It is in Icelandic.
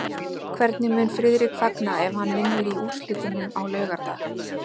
Hvernig mun Friðrik fagna ef hann vinnur í úrslitunum á laugardag?